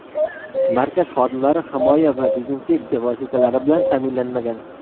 Markaz xodimlari himoya va dezinfeksiya vositalari bilan ta’minlanmagan.